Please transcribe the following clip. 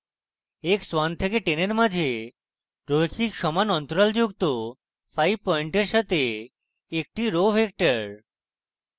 x 1 থেকে 10 এর মাঝে রৈখিক সমান অন্তরাল যুক্ত 5 পয়েন্টের সাথে একটি row row vector